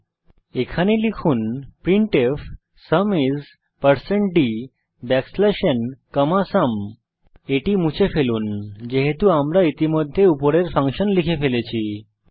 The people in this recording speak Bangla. তাই এখানে লিখুন printfসুম isdnসুম এখন এটি মুছে ফেলুন যেহেতু আমরা ইতিমধ্যে উপরের ফাংশন লিখে ফেলেছি